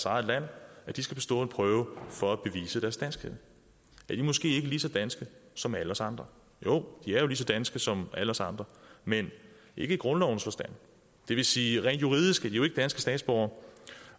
eget land skal bestå en prøve for at bevise deres danskhed er de måske ikke lige så danske som alle os andre jo de er jo lige så danske som alle os andre men ikke i grundlovens forstand det vil sige at rent juridisk er de jo ikke danske statsborgere